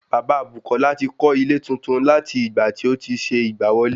Bàbá Bùkọ́lá ti kó lọ ilé tuntun láti ìgbà tí otí ṣe ìgbà wọlé